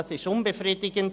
Das ist unbefriedigend.